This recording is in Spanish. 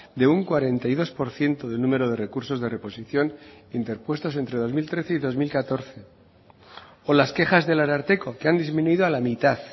de un cuarenta y dos por ciento del número de recursos de reposición interpuestos entre dos mil trece y dos mil catorce o las quejas del ararteko que han disminuido a la mitad